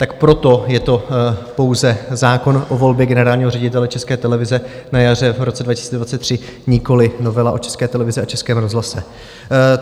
Tak proto je to pouze zákon o volbě generálního ředitele České televize na jaře v roce 2023, nikoliv novela o České televizi a Českém rozhlase.